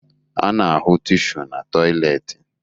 A na-ahụ tishu na tọyịleetị